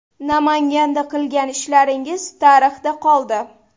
Namanganda qilgan ishlaringiz tarixda qoldi.